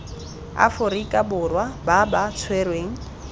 aforika borwa ba ba tshwerweng